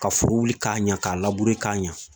Ka foro wili k'a ɲa k'a k'a ɲa